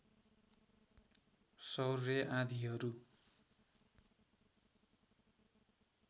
सौर्य आँधीहरू